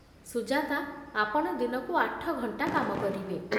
ସୁଜାତା, ଆପଣ ଦିନକୁ ଆଠ ଘଣ୍ଟା କାମ କରିବେ